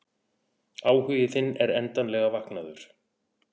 Áhugi þinn er endanlega vaknaður.